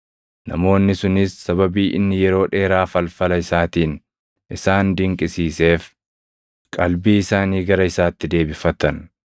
Namoonni sunis sababii inni yeroo dheeraa falfala isaatiin isaan dinqisiiseef qalbii isaanii gara isaatti deebifatan.